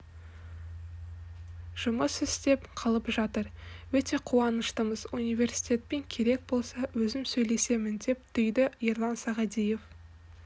жұмыс істеп қалып жатыр өте қуаныштымыз университетпен керек болса өзім сөйлесемін деп түйді ерлан сағадиев